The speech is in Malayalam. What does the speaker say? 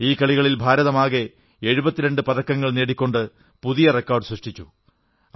ഈ കളികളിൽ ഭാരതം ആകെ 72 പതക്കങ്ങൾ നേടിക്കൊണ്ട് പുതിയ റെക്കാർഡ് സൃഷ്ടിച്ചു